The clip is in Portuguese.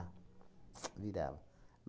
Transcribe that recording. virava.